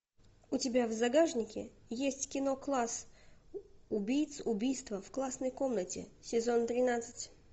у тебя в загашнике есть кино класс убийц убийство в классной комнате сезон тринадцать